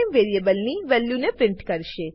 વેરીએબલની વેલ્યુને પ્રિન્ટ કરશે